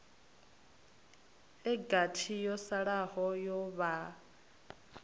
gathi yo salaho ya vhaa